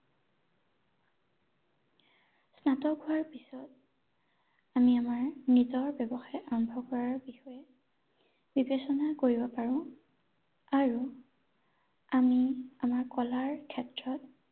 স্নাতক হোৱাৰ পিছত আমি আমাৰ নিজৰ ব্যৱসায় আৰম্ভ কৰাৰ বিষয়ে বিবেচনা কৰিব পাৰো আৰু আমি আমাৰ কলাৰ ক্ষেত্ৰত